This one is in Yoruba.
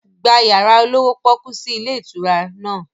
Gba yàrá olówó pọ́kú sì ilé ìtura náà!